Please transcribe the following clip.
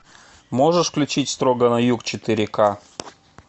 можешь включить строго на юг четыре ка